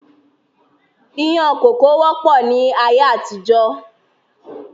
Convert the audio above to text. Ìyàn kókò wọ́pọ̀ ni ayé àtijọ́.